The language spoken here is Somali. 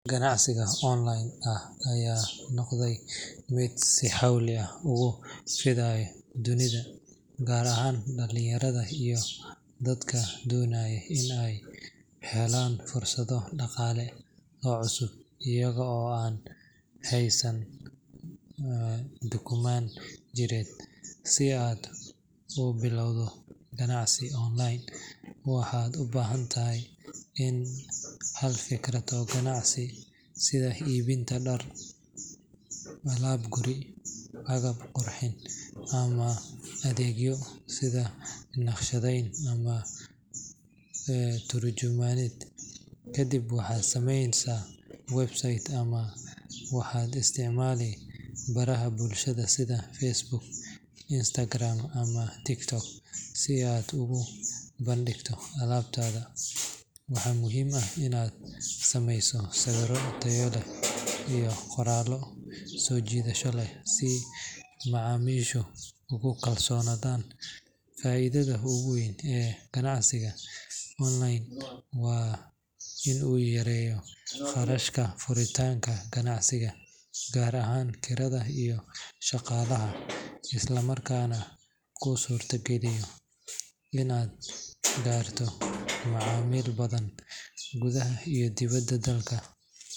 Ganacdiga online ah aya nogday mid si xowli ah ugufidayo dunida gaar ahan dalinyarada iyo dadka donayo inay helaan fursado dagale oo cusub iyado an haysan dukuman jired, si ay aad ubilawdo gacansi online waxad ubahantahay in halfikrad oo gacansi sida ibinta daar alab guri sida naqshadeyn ama tarjumaned, kadib waxay sameyneysa website ama waha isticmali baraha bulshadha sida facebook, instagram, ama tiktok si aad ogu bandigto alabtada waxa muxiim ah inad digto sawiro tayo leh ito sojidasho leh si macamishu ogukalsonadan faidada oguwen ee ganacsiga online wa in uu yareyo qarashka furitanka suqaa gaar ahan kirada iyo shagalaha islamarkana kusurta galiyo inad garto macamil badan gudaha iyo dibada dalka.